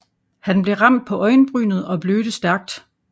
Han blev ramt på øjenbrynet og blødte stærkt